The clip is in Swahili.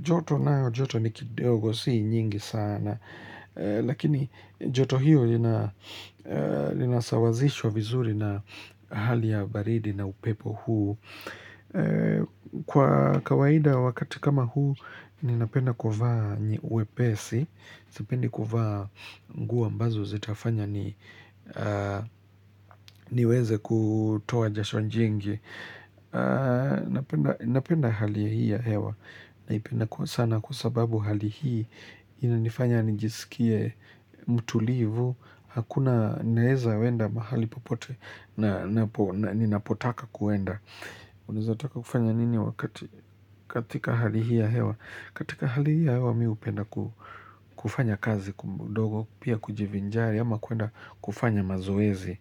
Joto nayo, joto ni kidogo, si nyingi sana, lakini joto hiyo linasawazishwa vizuri na hali ya baridi na upepo huu. Kwa kawaida wakati kama huu Ninapenda kufaa uwepesi sipendi kuvaa nguo ambazo zitafanya ni niweze kutoa jasho jingi Napenda hali hii ya hewa Naipenda kwa sana kwa sababu hali hii Inanifanya nijisikie mutulivu Hakuna naeza enda mahali popote, na napo Ninapotaka kuenda Unaeza taka kufanya nini wakati katika hali hii ya hewa katika hali hii ya hewa mi hupenda kufanya kazi kidogo Pia kujivinjari ama kuenda kufanya mazoezi.